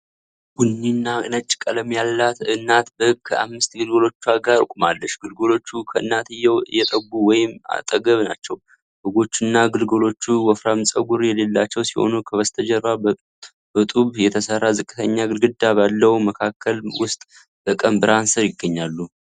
ቡኒና ነጭ ቀለም ያላት እናት በግ ከአምስት ግልገሎቿ ጋር ቆማለች። ግልገሎቹ ከእናትየው እየጠቡ ወይም አጠገቧ ናቸው። በጎቹና ግልገሎቹ ወፍራም ፀጉር የሌላቸው ሲሆኑ፣ ከበስተጀርባ በጡብ የተሰራ ዝቅተኛ ግድግዳ ባለው መከለል ውስጥ በቀን ብርሃን ስር ይገኛሉ።